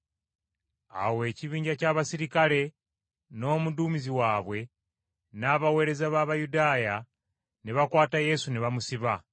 Awo ekibinja ky’abaserikale n’omuduumizi waabwe n’abaweereza b’Abayudaaya, ne bakwata Yesu ne bamusiba.